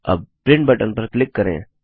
अब print button पर click करें